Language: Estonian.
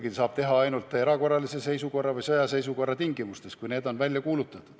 Seda saab teha ainult erakorralise seisukorra või sõjaseisukorra ajal, kui need on välja kuulutatud.